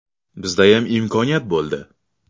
Bizdayam imkoniyat bo‘ldi.